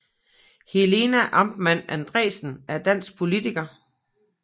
Helena Artmann Andresen er en dansk politiker